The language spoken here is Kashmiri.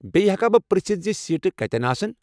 بییٚہِ ہیٚکا بہٕ پرٛژھتھ زِ سیٖٹہٕ کتٮ۪ن آسَن؟